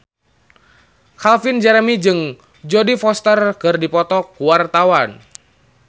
Calvin Jeremy jeung Jodie Foster keur dipoto ku wartawan